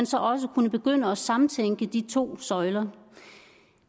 så også kunne begynde at samtænke de to søjler